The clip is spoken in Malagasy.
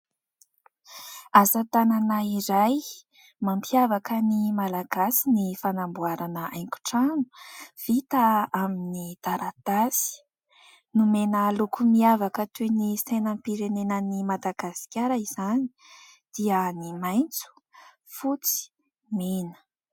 Asa tanana iray mampiavaka ny malagasy ny fanamboarana haingo trano vita amin'ny taratasy. Nomena loko miavaka toy ny sainam-pirenenan'i Madagasikara izany dia ny maitso, fotsy, mena.